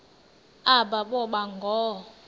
aba boba ngoo